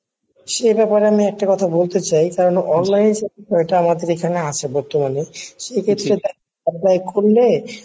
সে ব্যাপার আমি একটা কথা বলতে চাই কারণ Online এটা আমাদের এখানে আছে বর্তমানে সেক্ষেত্রে apply করলে